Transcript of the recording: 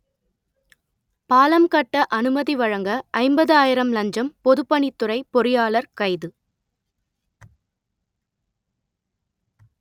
பாலம் கட்ட அனுமதி வழங்க ஐம்பது ஆயிரம் லஞ்சம் பொதுப்பணித்துறை பொறியாளர் கைது